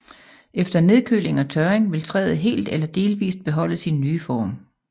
Efter nedkøling og tørring vil træet helt eller delvist beholde sin nye form